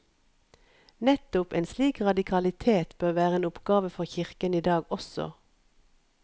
Nettopp en slik radikalitet bør være en oppgave for kirken i dag også.